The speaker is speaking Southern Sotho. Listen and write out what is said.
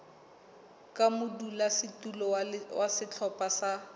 ka modulasetulo wa sehlopha sa